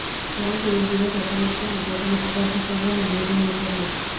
પરંતુ એક દિવસ અચાનક તેમણે પોતાનો પગાર ઘટાડવાનો નિર્ણય કર્યો